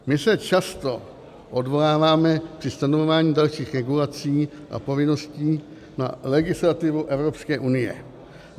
My se často odvoláváme při stanovování dalších regulací a povinností na legislativu Evropské unie.